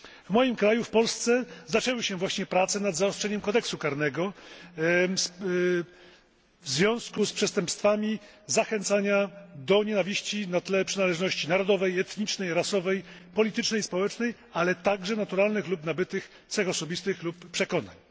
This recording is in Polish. W moim kraju, w Polsce, zaczęły się właśnie prace nad zaostrzeniem kodeksu karnego w związku z przestępstwami zachęcania do nienawiści na tle przynależności narodowej, etnicznej, rasowej, politycznej i społecznej, ale także naturalnych lub nabytych cech osobistych lub przekonań.